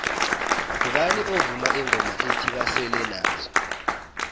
ngubani ovuma ingoma ethi basele nazo